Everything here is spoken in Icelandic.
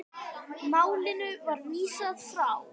Málinu var vísað frá.